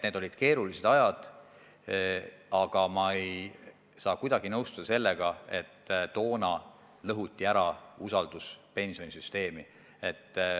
Need olid keerulised ajad, aga ma ei saa kuidagi nõustuda sellega, et toona lõhuti ära usaldus pensionisüsteemi vastu.